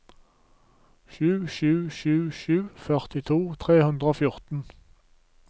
sju sju sju sju førtito tre hundre og fjorten